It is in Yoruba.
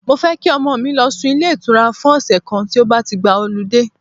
Mo fẹ́ kí ọmọ mi lọ sún ilé ìtura fún ọ̀sẹ̀ kan tí ó bá ti gba họludé.